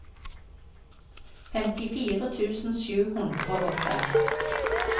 femtifire tusen sju hundre og fem